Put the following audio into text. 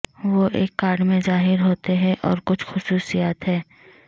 وہ ایک کارڈ میں ظاہر ہوتے ہیں اور کچھ خصوصیات ہیں